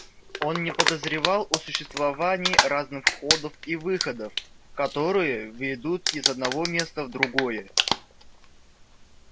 он не подозревал о существовании разных входов и выходов которые ведут из одного места в другое